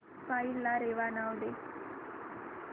file ला रेवा नाव दे